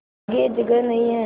आगे जगह नहीं हैं